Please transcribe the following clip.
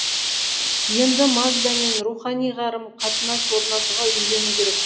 енді магдамен рухани қарым қатынас орнатуға үйрену керек